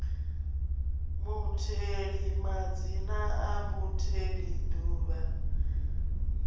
mutheli madzina a mutheli duvha